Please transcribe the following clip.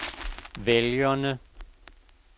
vælgerne